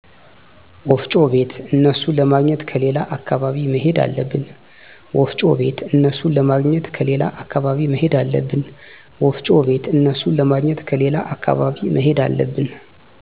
ወፍጮ ቤት እነሡን ለማግኘት ከሌላ አካባቢ መሄድ አለብን